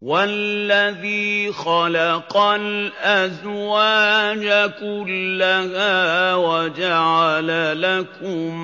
وَالَّذِي خَلَقَ الْأَزْوَاجَ كُلَّهَا وَجَعَلَ لَكُم